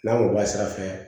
N'an ko asira fɛ